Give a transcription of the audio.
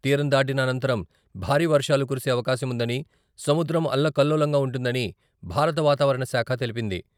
తీరం దాటిన అనంతరం భారీ వర్షాలు కురిసే అవకాశం ఉందని, సముద్రం అల్లకల్లోలంగా ఉంటుందని భారత వాతావరణ శాఖ తెలిపింది.